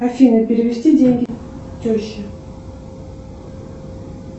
афина перевести деньги теще